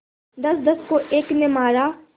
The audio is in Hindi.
दसदस को एक ने मारा